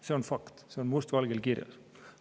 See on fakt, see on must valgel kirjas.